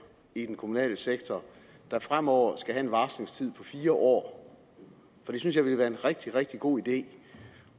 i den kommunale sektor der fremover skal have en varslingstid på fire år for det synes jeg ville være en rigtig rigtig god idé